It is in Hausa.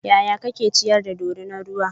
yaya kake ciyar da dorinar ruwan?